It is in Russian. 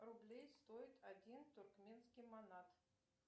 рублей стоит один туркменский манат